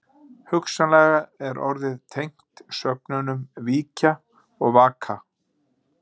Hugsanlega er orðið tengt sögnunum víkja og vaka.